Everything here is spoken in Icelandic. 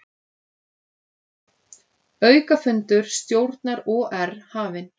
Aukafundur stjórnar OR hafinn